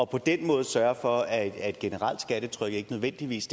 på den måde sørge for at generelle skattetryk ikke nødvendigvis